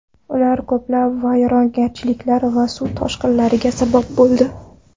Ular ko‘plab vayronagarchiliklar va suv toshqinlariga sabab bo‘ldi.